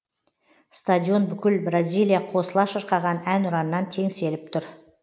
стадион бүкіл бразилия қосыла шырқаған әнұраннан теңселіп тұр